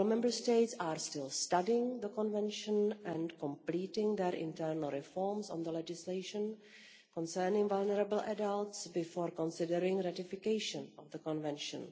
Several Member States are still studying the Convention and completing their internal reforms of the legislation concerning vulnerable adults before considering ratification of the Convention.